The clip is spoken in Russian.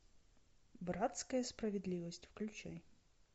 братская справедливость включай